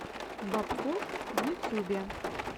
бобкофф в ютюбе